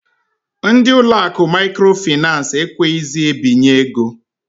Ndị ụlọ akụ Maikro Finans ekweghizi ebinye ego.